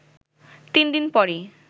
তিন দিন পরই